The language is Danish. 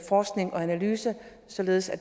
forskning og analyse således at